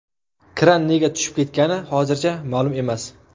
Kran nega tushib ketgani hozircha ma’lum emas.